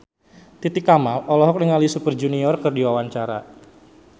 Titi Kamal olohok ningali Super Junior keur diwawancara